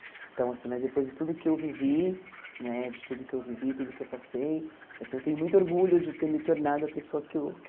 Então, assim, mas depois de tudo que eu vivi, né de tudo que eu vivi, tudo que eu passei, assim eu tenho muito orgulho de ter me tornado a pessoa que eu que eu